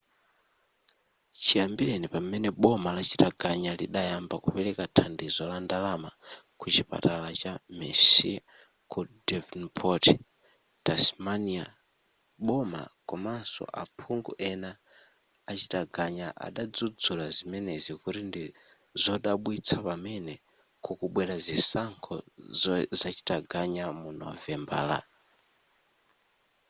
chiyambireni pamene boma la chitaganya lidayamba kupereka thandizo la ndalama ku chipatala cha mersey ku devonport tasmania boma komanso aphungu ena achitaganya adadzudzula zimenezi kuti ndi zodabwitsa pamene kukubwera zisankho zachitaganya mu novembala